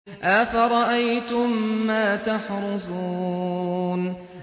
أَفَرَأَيْتُم مَّا تَحْرُثُونَ